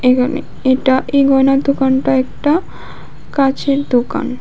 এখানে এটা এই গয়নার দোকানটা একটা কাঁচের দোকান।